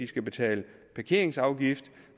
skal betales parkeringsafgift